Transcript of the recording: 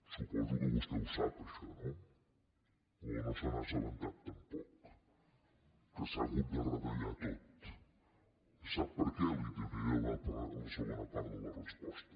suposo que vostè ho sap això no o no se n’ha assabentat tampoc que s’ha hagut de retallar tot sap per què li ho donaré a la segona part de la resposta